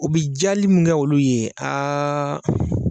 O bi jali min kɛ olu ye .